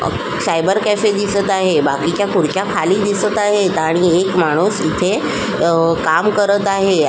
Cyber cafe दिसत आहे बाकीच्या खुर्च्या खाली दिसत आहे आणि एक माणूस तिथे अ काम करत आहे.